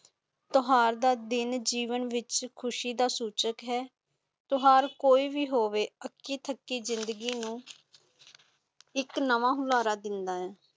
ਤਿਓਹਾਰ ਦਾ ਦਿਨ ਜੀਵਨ ਵਿੱਚ ਖੁਸ਼ੀ ਦਾ ਸੂਚਕ ਹੈ ਤਿਓਹਾਰ ਕੋਈ ਵੀ ਹੋਵੇ ਆਕੀ ਥਕਿ ਜ਼ਿੰਦਗੀ ਨੂੰ ਇੱਕ ਨਵਾਂ ਹੁਲਾਰਾ ਦਿਨਾ ਹੈ।